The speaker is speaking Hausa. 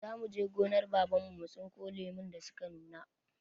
Za mu je gonar Baban mu mu tsinko lumun da su ka nuna.